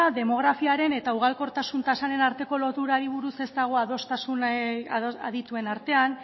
demografiaren eta ugalkortasun tasaren arteko loturari buruz ez dago adostasunik adituen artean